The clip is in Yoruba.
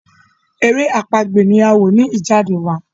èrè àpagbè ni a wọ ní Ijade wá